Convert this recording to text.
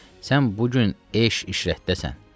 Sən bu gün eşq işrətdəsən.